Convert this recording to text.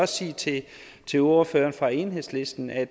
sige til til ordføreren for enhedslisten at